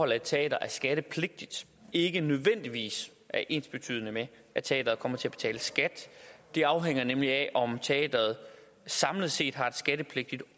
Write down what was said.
at et teater er skattepligtigt ikke nødvendigvis er ensbetydende med at teateret kommer til at betale skat det afhænger nemlig af om teateret samlet set har et skattepligtigt